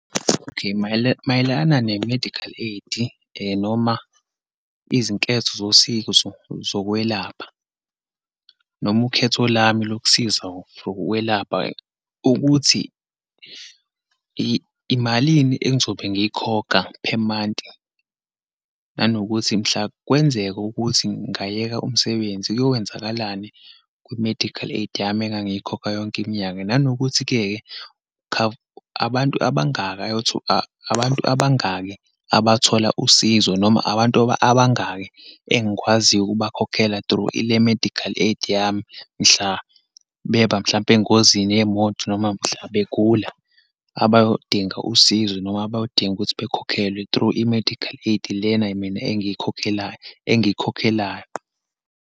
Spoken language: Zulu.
Okay, mayelana ne-medical aid, noma izinketho zosizo zokwelapha, noma ukhetho lami lokusiza for ukwelapha, ukuthi imalini engizobe ngiyikhokha per month. Nanokuthi mhla kwenzeka ukuthi ngayeka umsebenzi kuyowenzakalani kwi-medical aid yami engangiyikhokha yonke iminyaka. Nanokuthi-ke, abantu abangaka abantu abangaki abathola usizo, noma abantu abangaki engikwaziyo ukubakhokhela through ile-medical aid yami, mhla beba, mhlampe engozini yemoto, noma mhla begula, abayodinga usizo, noma abayodinga ukuthi bakhokhelwe through i-medical aid lena mina engiyikhokhela, engiyikhokhelayo.